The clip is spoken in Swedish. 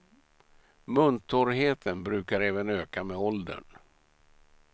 Muntorrheten brukar även öka med åldern.